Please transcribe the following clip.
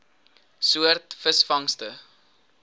soort visvangste